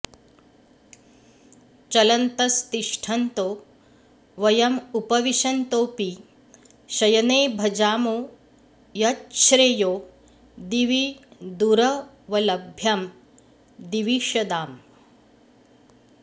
चलन्तस्तिष्ठन्तो वयमुपविशन्तोऽपि शयने भजामो यच्छ्रेयो दिवि दुरवलभ्यं दिविषदाम्